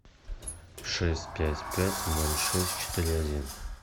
шесть пять пять ноль шесть четыре один